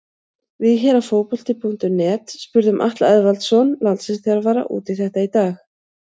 Við hér á Fótbolti.net spurðum Atla Eðvaldsson landsliðsþjálfara út í þetta í dag.